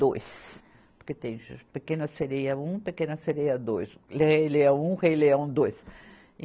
Dois. Porque tem Pequena Sereia um, Pequena Sereia dois, Rei Leão um, Rei Leão dois.